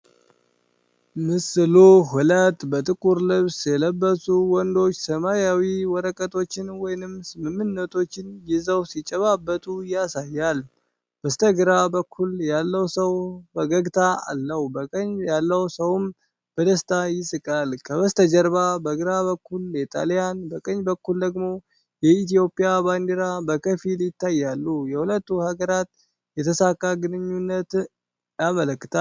ምስሉ ሁለት በጥቁር ልብስ የለበሱ ወንዶች፣ ሰማያዊ ወረቀቶችን ወይም ስምምነቶችን ይዘው ሲጨባበጡ ያሳያል። በስተግራ በኩል ያለው ሰው ፈገግታ አለው፣ በቀኝ ያለው ሰውም በደስታ ይስቃል። ከበስተጀርባ በግራ በኩል የጣልያን፣ በቀኝ በኩል ደግሞ የኢትዮጵያ ባንዲራ በከፊል ይታያሉና የሁለቱን ሀገራት የተሳካ ግንኙነት ያመለክታል።